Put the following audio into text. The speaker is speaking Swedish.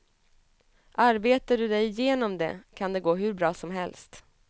Arbetar du dig igenom det kan det gå hur bra som helst.